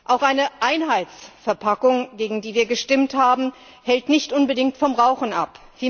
Auch eine Einheitsverpackung, gegen die wir gestimmt haben, hält nicht unbedingt vom Rauchen ab.